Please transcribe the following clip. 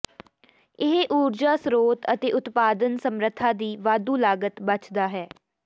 ਇਹ ਊਰਜਾ ਸਰੋਤ ਅਤੇ ਉਤਪਾਦਨ ਸਮਰੱਥਾ ਦੀ ਵਾਧੂ ਲਾਗਤ ਬਚਦਾ ਹੈ